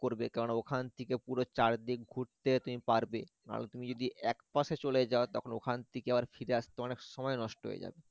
করবে কেননা ওখান থেকে পুরো চারদিক ঘুরতে তুমি পারবে নাহলে তুমি যদি একপাশে চলে যাও তখন ওখান থেকে আবার ফিরে আসতে অনেক সময় নষ্ট হয়ে যাবে